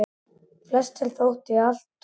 Flestum þótti þær alt of dökkar.